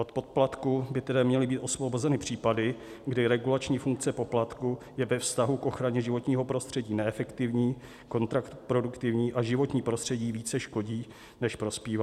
Od poplatku by tedy měly být osvobozeny případy, kdy regulační funkce poplatku je ve vztahu k ochraně životního prostředí neefektivní, kontraproduktivní a životnímu prostředí více škodí, než prospívá.